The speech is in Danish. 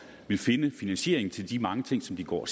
vil finde finansieringen til de mange ting som de går